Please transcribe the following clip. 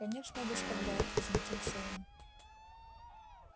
конечно доставляет возмутился он